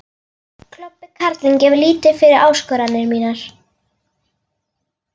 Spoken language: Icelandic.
Klobbi karlinn gefur lítið fyrir áskoranir mínar.